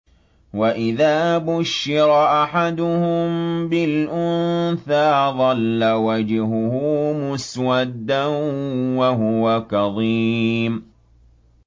وَإِذَا بُشِّرَ أَحَدُهُم بِالْأُنثَىٰ ظَلَّ وَجْهُهُ مُسْوَدًّا وَهُوَ كَظِيمٌ